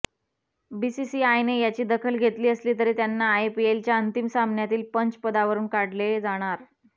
बीसीसीआयने याची दखल घेतली असली तरी त्यांना आयपीएलच्या अंतिम सामन्यातील पंच पदावरून काढले जाणार